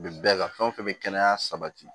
Bi bɛɛ ka fɛn o fɛn bɛ kɛnɛya sabati